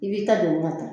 I b'i ta don ka taa